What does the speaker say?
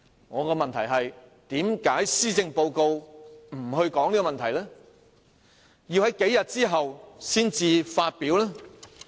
我的問題是，為何施政報告不談及這問題，要在數天後才作出公布？